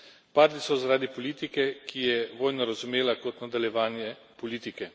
Padli so zaradi politike, ki je vojno razumela kot nadaljevanje politike.